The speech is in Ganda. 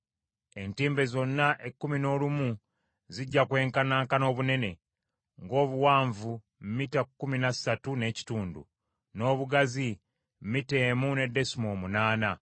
Entimbe zonna ekkumi n’olumu zijja kwenkanankana obunene: ng’obuwanvu mita kkumi na ssatu n’ekitundu, n’obugazi mita emu ne desimoolo munaana.